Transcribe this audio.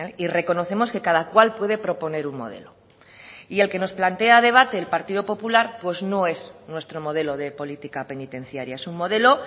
y reconocemos que cada cual puede proponer un modelo y el que nos plantea a debate el partido popular pues no es nuestro modelo de política penitenciaria es un modelo